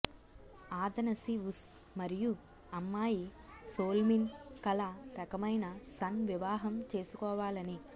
Athanasius మరియు అమ్మాయి సోల్మిన్ కల రకమైన సన్ వివాహం చేసుకోవాలని